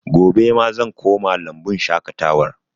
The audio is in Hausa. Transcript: Gobe ma zan koma lambun shaƙatawar